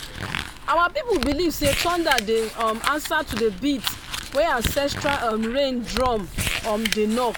our people believe say thunder dey um answer to the beat wey ancestral um rain drum um dey knock